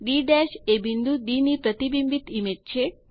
D એ બિંદુ D ની પ્રતિબિંબિત ઇમેજ છે